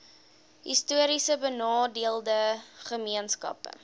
histories benadeelde gemeenskappe